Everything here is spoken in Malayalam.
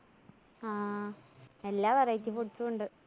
ആ എല്ലാ variety foods ഉം ഉണ്ട്.